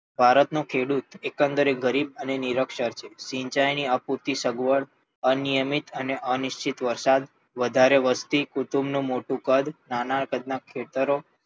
ભારત નો ખેડૂત એકંદરે ગરીબ અને નિરક્ષર છે. સિંચાઈ ની અપૂરતી સગવડ, અનિયમિત અને અનિશ્ચિત વરસાદ, વધારે વસ્તી, કુટુંબ નું મોટું કદ નાના size ના ખેતરો